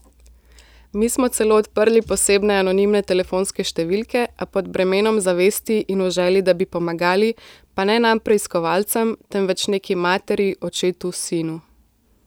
Mi smo celo odprli posebne anonimne telefonske številke, a pod bremenom zavesti in v želji, da bi pomagali, pa ne nam preiskovalcem, temveč neki materi, očetu, sinu.